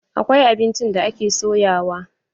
Akwai abinci da ake soyawa.